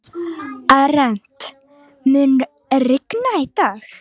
Arent, mun rigna í dag?